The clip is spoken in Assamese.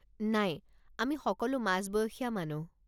নাই, অমি সকলো মাজবয়সীয়া মানুহ।